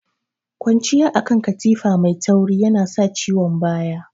Kwanciya akan katifa mai tauri yana sa ciwon baya.